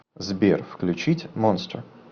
сбер включить монстер